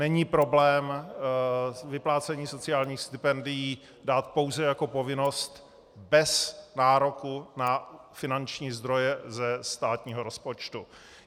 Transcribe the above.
Není problém vyplácení sociálních stipendií dát pouze jako povinnost bez nároku na finanční zdroje ze státního rozpočtu.